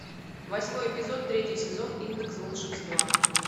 восьмой эпизод третий сезон индекс волшебства